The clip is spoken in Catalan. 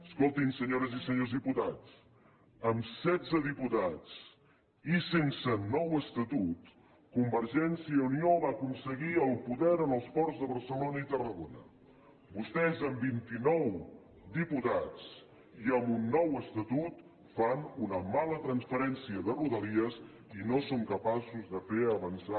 escoltin senyores i senyors diputats amb setze diputats i sense nou estatut convergència i unió va aconseguir el poder en els ports de barcelona i tarragona vostès amb vint i nou diputats i amb un nou estatut fan una mala transferència de rodalies i no són capaços de fer avançar